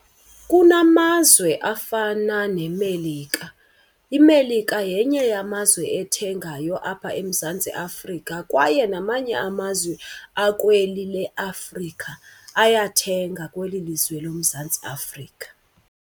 Kunamazwe afana neMelika, iMelika yenye yamazwe ethengayo apha eMzantsi Afrika kwaye namanye amazwe akweli leAfrika ayathenga kweli lizwe loMzantsi Afrika.